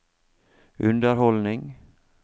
underholdning